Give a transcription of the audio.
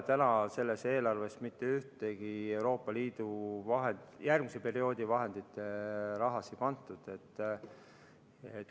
Täna ei ole sellesse eelarvesse Euroopa Liidu järgmise perioodi vahendite raha pandud.